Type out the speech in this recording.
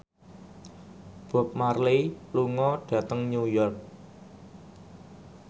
Bob Marley lunga dhateng New York